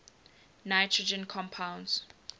nitrogen compounds